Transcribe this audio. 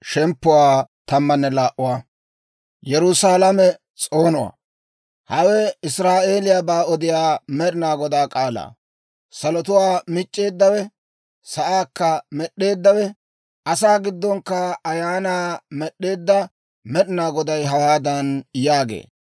Hawe Israa'eeliyaabaa odiyaa Med'inaa Godaa k'aalaa. Salotuwaa mic'c'eeddawe, sa'aakka med'd'eeddawe, asaa giddonkka ayaanaa med'd'eedda Med'inaa Goday hawaadan yaagee;